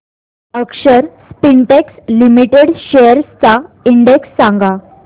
अक्षर Spintex limited shares चा index सांगा